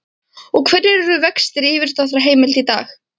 Og hverjir eru vextir á yfirdráttarheimild í dag?